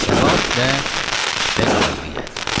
Səbat və və qalibiyyət.